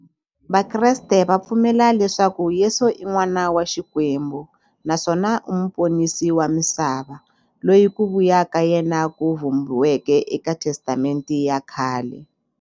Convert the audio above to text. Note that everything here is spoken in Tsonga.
Vakreste va pfumela leswaku Yesu i n'wana wa Xikwembu naswona i muponisi wa misava, loyi ku vuya ka yena ku vhumbiweke eka Testamente ya khale.